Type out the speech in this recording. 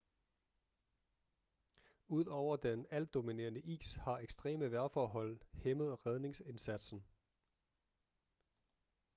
ud over den altdominerende is har ekstreme vejrforhold hæmmet redningsindsatsen